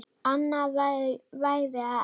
Annað væri það ekki.